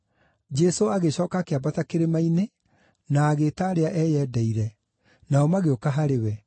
Jesũ agĩcooka akĩambata kĩrĩma-inĩ na agĩĩta arĩa eyendeire, nao magĩũka harĩ we.